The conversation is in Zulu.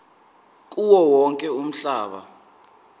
kuwo wonke umhlaba